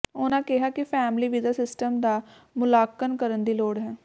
ਉਨ੍ਹਾਂ ਕਿਹਾ ਕਿ ਫੈਮਲੀ ਵੀਜ਼ਾ ਸਿਸਟਮ ਦਾ ਮੁਲਾਂਕਣ ਕਰਨ ਦੀ ਲੋੜ ਹੈ